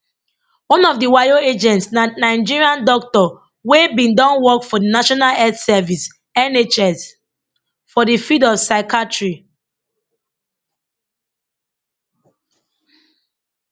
one of di wayo agents na nigerian doctor wey bin don work for di national health service nhs for di field of psychiatry